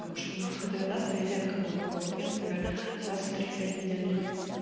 потому что ну дредасты её редко моют голову вот я например раз в три в пять недель ну как